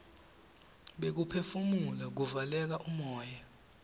bekuphefumula kuvaleka umoya